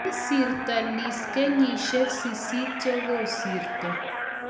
Kisiirto Liz kenyishiek sisit chegikosirto